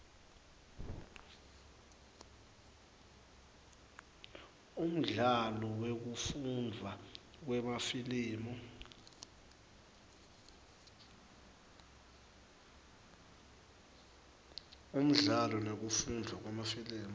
umdlalo nekufundvwa kwemafilimu